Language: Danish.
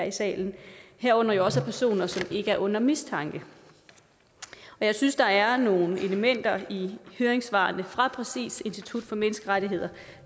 i salen herunder jo også af personer som ikke er under mistanke jeg synes der er nogle elementer i høringssvarene fra præcis institut for menneskerettigheder